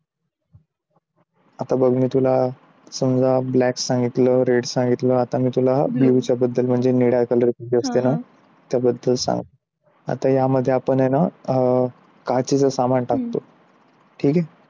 आता मी तुला समजा black सांगितलं red सांगितलं आता मी तुला blue च्या बद्दल म्हणजे निळ्या color च्या बद्दल आता यामध्ये आपण आहे ना? काचेचा सामान टाकतो ठीक आहे.